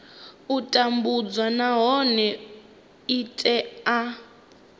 u tambudzwa nahone i tea